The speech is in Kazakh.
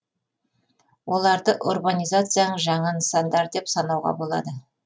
оларды урбанизацияның жаңа нысандары деп санауға болады